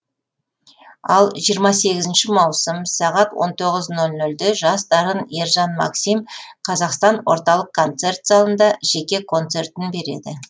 ал жиырма сегізінші маусым сағат он тоғыз нөл нөлде жас дарын ержан максим қазақстан орталық концерт залында жеке концертін береді